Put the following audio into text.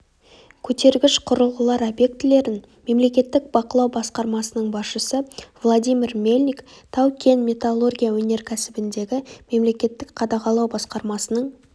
көтергіш құрылғылар объектілерін мемлекеттік бақылау басқармасының басшысы владимир мельник тау-кен металлургия өнеркәсібіндегі мемлекеттік қадағалау басқармасының